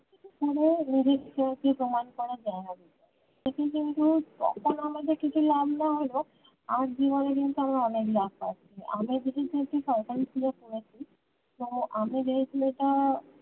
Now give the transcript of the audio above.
এভাবেই ভবিষ্য কি প্রমান করা জায়গা দিতো সেটি কিন্তু তখন আমাদের কিছু লাভ না হলেও আজ জীবনে কিন্তু আমরা অনেক লাভ পাচ্ছি আমি যেহেতু একটি সরকারি school এ পড়েছি তো আমি যে ছেলেটা